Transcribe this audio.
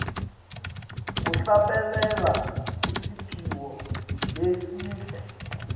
kuhlabelela kusiphiwo lesihle